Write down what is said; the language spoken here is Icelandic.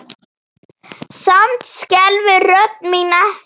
Samt skelfur rödd mín ekki.